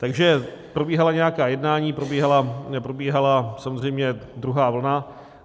Takže probíhala nějaká jednání, probíhala samozřejmě druhá vlna.